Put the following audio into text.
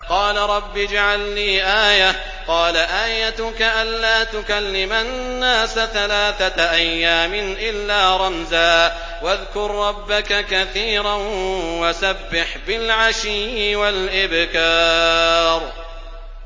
قَالَ رَبِّ اجْعَل لِّي آيَةً ۖ قَالَ آيَتُكَ أَلَّا تُكَلِّمَ النَّاسَ ثَلَاثَةَ أَيَّامٍ إِلَّا رَمْزًا ۗ وَاذْكُر رَّبَّكَ كَثِيرًا وَسَبِّحْ بِالْعَشِيِّ وَالْإِبْكَارِ